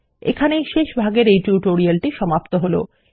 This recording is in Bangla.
এখানেই শেষ ভাগের এই টিউটোরিয়াল টি সমাপ্ত হলো